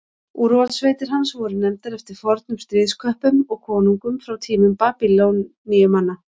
úrvalssveitir hans voru nefndar eftir fornum stríðsköppum og konungum frá tímum babýloníumanna